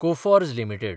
Coforge limited